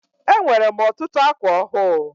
Enwere m ọtụtụ ákwà ọhụụ.